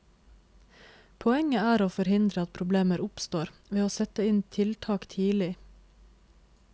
Poenget er å forhindre at problemer oppstår ved å sette inn tiltak tidlig.